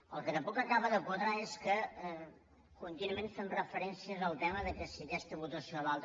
el que tampoc acaba de quadrar és que contínuament fem referència al tema que si aquesta votació o l’altra